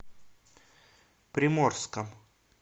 приморском